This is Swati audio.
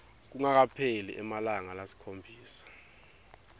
kungakapheli emalanga lasikhombisa